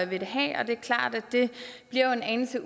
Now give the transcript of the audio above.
vil have og det er klart at det bliver en anelse